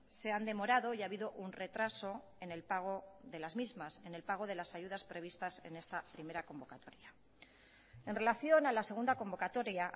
se han demorado y ha habido un retraso en el pago de las mismas en el pago de las ayudas previstas en esta primera convocatoria en relación a la segunda convocatoria